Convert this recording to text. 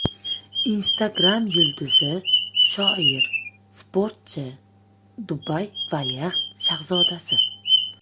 Instagram yulduzi: shoir, sportchi, Dubay valiahd shahzodasi.